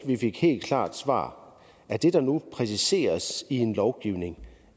vi fik et helt klart svar er det der nu præciseres i en lovgivning